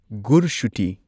ꯒꯨꯔꯁꯨꯇꯤ